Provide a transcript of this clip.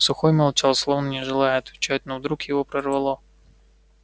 сухой молчал словно не желая отвечать но вдруг его прорвало